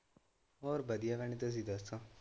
ਹੋਰ ਵਧੀਆਂ ਭੈਣ ਤੁਸੀ ਦੱਸੋ?